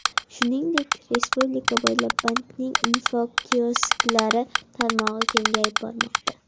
Shuningdek, respublika bo‘ylab bankning infokiosklari tarmog‘i kengayib bormoqda.